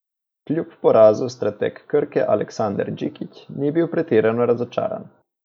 Kljub porazu strateg Krke Aleksandar Džikić ni bil pretirano razočaran.